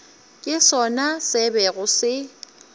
ke sona se bego se